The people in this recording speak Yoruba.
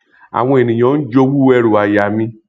àwọn ènìyàn ń jowú ẹrú aya mi